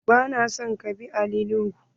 Ba na son ka bi Ali nuhu!